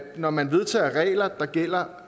når man vedtager regler der gælder